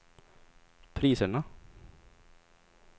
priserna